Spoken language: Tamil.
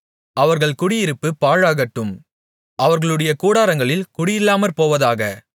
அவர்கள் குடியிருப்பு பாழாகட்டும் அவர்களுடைய கூடாரங்களில் குடியில்லாமற்போவதாக